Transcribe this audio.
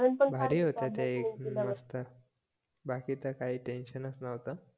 भारी होत्या ते मस्त बाकी तर काही टेन्शन च नव्हत